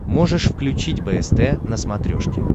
можешь включить бст на смотрешке